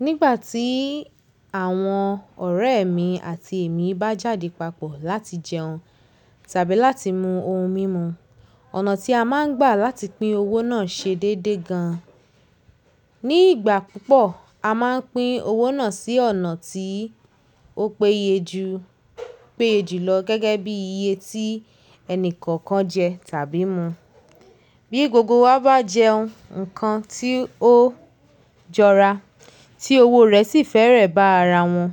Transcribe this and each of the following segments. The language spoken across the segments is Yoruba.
Nígbà tí àwọn ọ̀rẹ́ mi àti èmi bá jáde papọ̀ láti jẹun tàbí láti mú ohun mímu, ọ̀nà tí a máa ń gbà láti pín owó náà ṣe déédé gan. Ní ìgbà púpọ̀, a máa ń pín owó náà sí ọ̀nà tí ó peye ju, péye jùlọ gẹ́gẹ́ bí iye tí ẹni kọ̀ọ̀kan jẹ tàbí mu. Bí gbogbo wa bá jẹun ǹnkan tí ó jọra tí owó rẹ̀ sì fẹ́rẹ̀ bá ara won,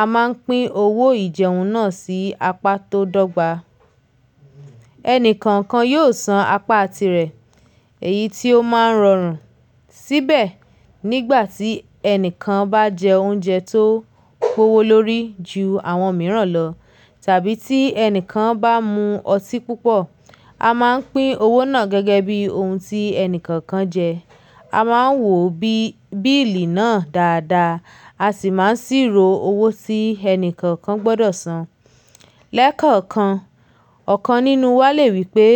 a máa ń pín owó ìjẹun náà sí apá tó dọ́gba. Ẹni kọ̀ọ̀kan yóò san apá tirẹ̀ èyí tí ó máa ń rọrùn síbẹ̀ nígbà tí ẹni kan bá jẹ oúnjẹ tó kówó lórí ju àwọn mìíràn lọ tàbí tí ẹni kan bá mu ọtí púpọ̀, a máa ń pín owó náà gẹ́gẹ́ bí ohun tí ẹni kọ̀ọ̀kan jẹ. A máa ń wò bíìlì náà dáadáa a sì máa ń ṣírò owó tí ẹni kọ̀ọ̀kan gbọ́dọ̀ san. Lẹ́kọ̀ọ̀kan, ọ̀kan nínú wa lè wí pé,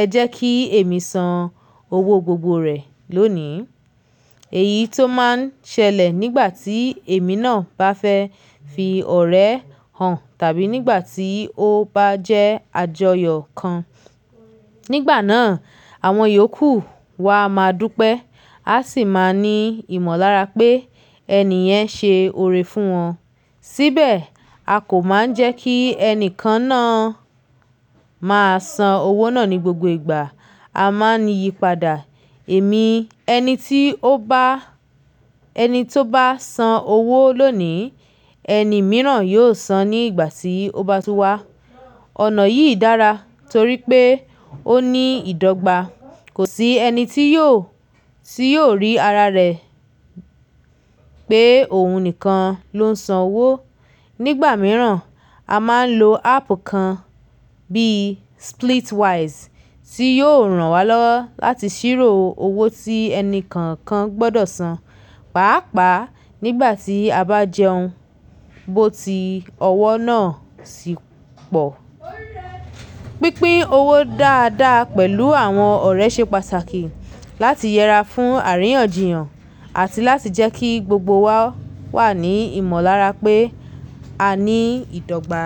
"Ẹ jẹ́ kí èmi san owó gbogbo rẹ̀ lónìí." Èyí tó máa ń ṣẹlẹ̀ nígbà tí èmi náà bá fẹ́ fi ọ̀rẹ́ hàn tàbí nígbà tí ó bá jẹ́ àjọyọ̀ kan. Nígbà náà, àwọn iyòókù wa máa dúpẹ́ á sì máa ní ìmọ̀lára pé ẹni yẹn ṣe ore fún wọn. Síbẹ̀, a kò máa ń jẹ́ kí ẹni kan na máa san owó náà ní gbogbo ìgbà. A máa ń yípadà. Ẹ̀mi ẹni tí ó bá, ẹni tó bá san owó lónìí, ẹni mìíràn yóò san ní ìgbà tí ó bá tú wá. Ọ̀nà yìí dára torí pé ó ní ìdọ́gba. Kò sí ẹni tí yóò, tí yóò rí ara rẹ̀ pé òun nìkan ló ń san owó. Nígbà mìíràn, a máa ń lo áàpù kan bí i Splitwise tí yóò ràn wá lọ́wọ́ láti ṣírò owó tí ẹni kọ̀ọ̀kan gbọ́dọ̀ san, pàápàá nígbà tí a bá jẹun. Bó ti ọwọ́ náà sì pọ̀. Pínpín owó dáadáa pẹ̀lú àwọn ọ̀rẹ́ ṣe pàtàkì láti yẹra fún àríyànjiyàn àti láti jẹ́ kí gbogbo wa wà ní ìmọ̀lára pé a ní ìdọ́gba.